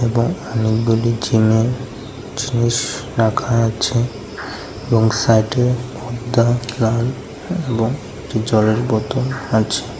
এবং অনেকগুলি জিমের জিনিস রাখা আছে এবং সাইডে পর্দা লাল এবং জলের বোতল আছে।